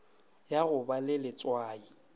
ya go ba le letswai